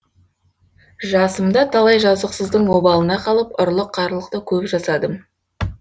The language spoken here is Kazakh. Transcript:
жасымда талай жазықсыздың обалына қалып ұрлық қарлықты көп жасадым